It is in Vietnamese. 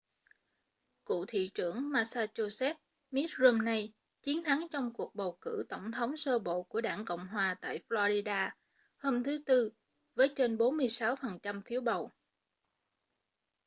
cựu thị trưởng massachusetts mitt romney chiến thắng trong cuộc bầu cử tổng thống sơ bộ của đảng cộng hòa tại florida hôm thứ tư với trên 46 phần trăm phiếu bầu